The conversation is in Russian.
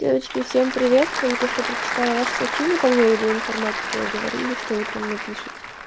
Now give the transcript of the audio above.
девочки всем привет только что прочитала ваше сообщение по поводу информатики вы говорили что утром напишите